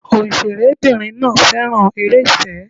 Òǹṣẹ̀rẹ́ bìnrin náà féràn eré ìfẹ́.